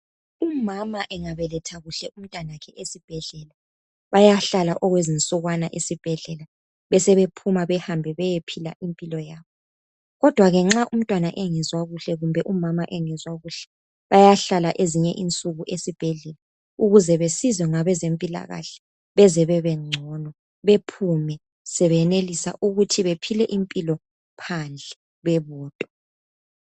Umama engabeletha kuhle umtanakhe esibhedlela bayahlala okwezensukwana esibhedlela besebephuma bahambe baye phila impilo yabo kodwa ke nxa umtwana engezwa kuhle kumbe umama engezwa kuhle bayahlala ezinye insuku esibhedlela ukuze besizwe ngabezempilakahle beze bebengcono bephume sebenelisa ukuthi bephile impilo phandle bebodwa